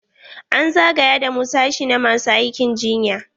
An zagaya da mu sashi na masu aikin jinya.